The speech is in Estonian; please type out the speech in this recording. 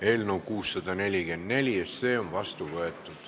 Eelnõu 644 on seadusena vastu võetud.